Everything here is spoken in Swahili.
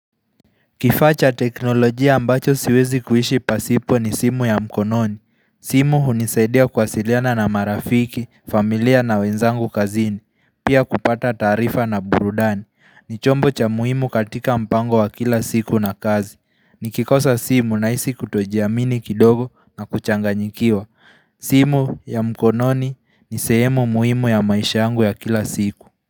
Kifaa cha teknolojia ambacho siwezi kuishi pasipo ni simu ya mkononi. Simu hunisaidia kuwasiliana na marafiki, familia na wenzangu kazini, pia kupata taarifa na burudani. Ni chombo cha muhimu katika mpango wa kila siku na kazi. Ni kikosa simu ninahisi kutojiamini kidogo na kuchanganyikiwa. Simu ya mkononi ni sehemu muhimu ya maisha yangu ya kila siku.